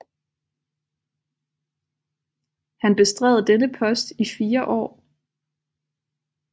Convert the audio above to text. Han bestred denne post i fire år